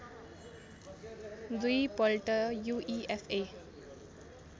दुई पल्ट यूईएफए